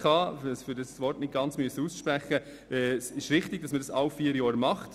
Es ist richtig, dass der Aktualisierungsrhythmus der RGSK bei vier Jahren liegt.